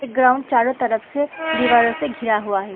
इ ग्राउंड चारो तरफ से दीवारों से घिरा हुआ है।